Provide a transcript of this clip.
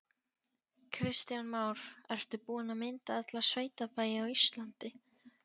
Kristján Már: Ertu búin að mynda alla sveitabæi á Íslandi?